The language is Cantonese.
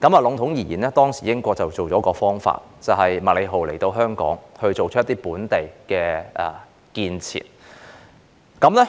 籠統而言，當時英國想出了一個點子，就是讓港督麥理浩推行一些本地建設。